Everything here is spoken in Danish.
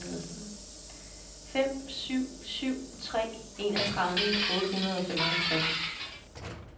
fem syv syv tre enogtredive otte hundrede og femoghalvtreds